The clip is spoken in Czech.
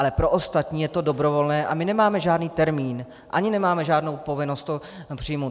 Ale pro ostatní je to dobrovolné A my nemáme žádný termín ani nemáme žádnou povinnost to přijmout.